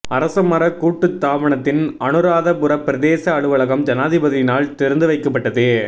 அரச மரக் கூட்டுத்தாபனத்தின் அனுராதபுர பிரதேச அலுவலகம் ஜனாதிபதியினால் திறந்து வைக்கப்பட்டது